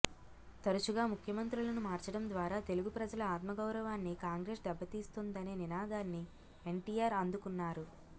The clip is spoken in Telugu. తరుచుగా ముఖ్యమంత్రులను మార్చడం ద్వారా తెలుగు ప్రజల ఆత్మగౌరవాన్ని కాంగ్రెసు దెబ్బ తీస్తోందనే నినాదాన్ని ఎన్టీఆర్ అందుకున్నారు